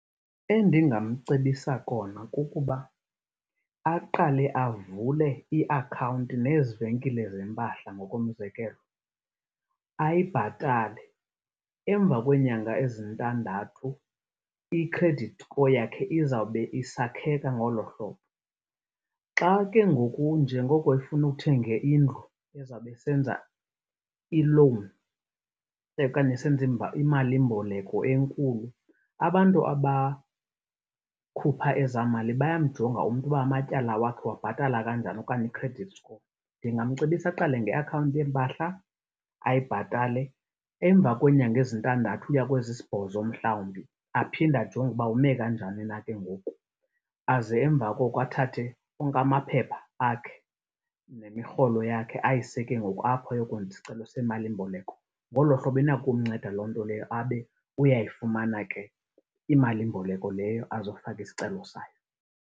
Endingamcebisa kona kukuba aqale avule iakhawunti nezi venkile zempahla ngokomzekelo, ayibhatale. Emva kweenyanga ezintandathu i-credit score yakhe izawube isakheka ngolo hlobo. Xa ke ngoku njengoko efuna ukuthenga indlu ezawube esenza i-loan okanye esenza imalimboleko enkulu abantu abakhupha ezaa mali bayamjonga umntu uba amatyala wakhe uwabhatala kanjani okanye i-credit score. Ndingamcebisa aqale ngeakhawunti yeempahla, ayibhatale emva kweenyanga ezintandathu uya kwezi sibhozo mhlawumbi, aphinde ajonge uba ume kanjani na ke ngoku. Aze emva koko athathe onke amaphepha akhe nemirholo yakhe ayise ke ngoku apho ayokwenza isicelo semalimboleko. Ngolo hlobo inako ukumnceda lonto leyo abe uyayifumana ke imalimboleko leyo azo faka isicelo sayo.